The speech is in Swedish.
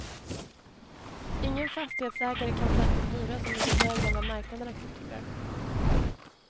Ingen fastighetsägare kan ta ut en hyra som ligger högre än vad marknaden accepterar.